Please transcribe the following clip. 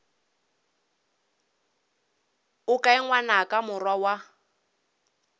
o kae ngwanaka morwa wa